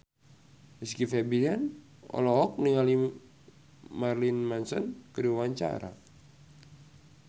Rizky Febian olohok ningali Marilyn Manson keur diwawancara